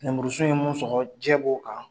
Nemurusunw ye mun sɔgɔ jɛ b'o kan.